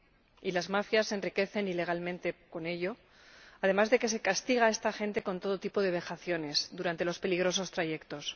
Y las mafias se enriquecen ilegalmente con ello, además de que se castiga a esta gente con todo tipo de vejaciones durante los peligrosos trayectos.